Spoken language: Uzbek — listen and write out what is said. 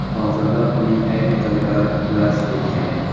Hozirda uning ayrim joylari darz ketgan.